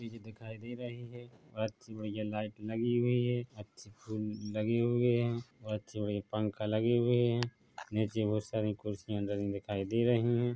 चीज़े दिखाई दे रहे है और अच्छी भैय्या लाइट लगी हुई है अच्छे फूल लगे हुए है और अच्छे मे ये पंखा लगे हुए है नीचे बहुत सी कुर्सियां लगी दिखाई दे रही है ।